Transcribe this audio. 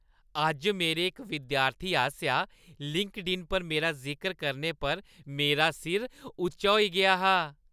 अज्ज मेरे इक विद्यार्थी आसेआ लिंक्डइन पर मेरा जिकर करने पर मेरा सिर उच्चा होई गेआ हा।